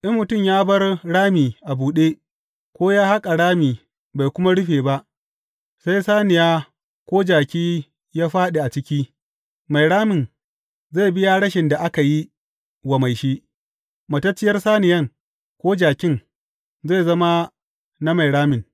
In mutum ya bar rami a buɗe, ko ya haƙa rami bai kuma rufe ba, sai saniya ko jaki ya fāɗi a ciki, Mai ramin zai biya rashin da aka yi wa mai shi, matacciyar saniyan ko jakin, zai zama na mai ramin.